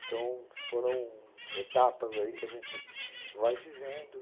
Então, foram etapas aí que a gente vai vivendo.